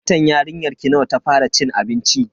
Watan yarinyarki nawa ta fara cin abinci?